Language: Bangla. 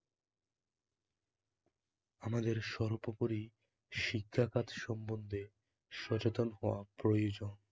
আমাদের সর্বোপরি শিক্ষাখাত সম্বন্ধ্যে সচেতন হওয়া প্রয়োজন